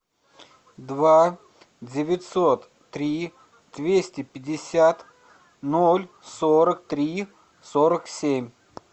два девятьсот три двести пятьдесят ноль сорок три сорок семь